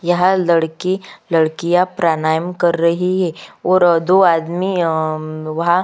यह लड़की लड़कियाँ प्रणाम कर रही है और दो आदमी वहाँ--